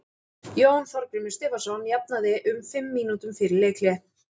Jón Þorgrímur Stefánsson jafnaði um fimm mínútum fyrir leikhlé.